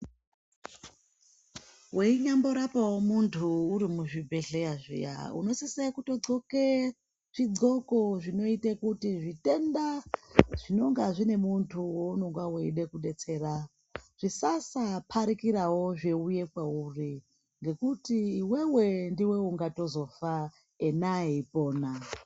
Weinyamborapawo muntu uri muzvibhedhleya zviya unosise kutodhloke zvidhloko zvinoite kuti zvitenda zvinonga zvine muntu weinonga weide kudetsera zvisasa parikirawo zveuya kwauri ngekuti iwewe ndiwe ungatizofa ena eipona.